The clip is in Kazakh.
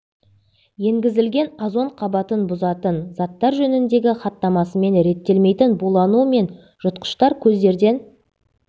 енгізілген озон қабатын бұзатын заттар жөніндегі хаттамасымен реттелмейтін булану мен жұтқыштар көздерден